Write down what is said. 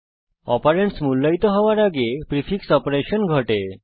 operands মূল্যায়িত হওয়ার আগে প্রিফিক্স অপারেশন ঘটে